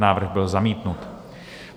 Návrh byl zamítnut.